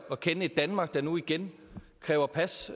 at kende et danmark der nu igen kræver pas